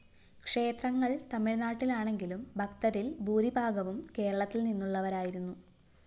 ക്ഷേത്രങ്ങള്‍ തമിഴ്‌നാട്ടിലാണെങ്കിലും ഭക്തരില്‍ ഭൂരിഭാഗവും കേരളത്തില്‍ നിന്നുള്ളവരായിരുന്നു